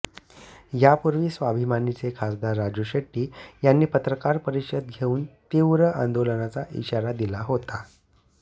यापूर्वी स्वाभिमानीचे खासदार राजू शेट्टी यांनी पत्रकार परिषद घेऊन तीव्र आंदोलनाचा इशारा दिला होता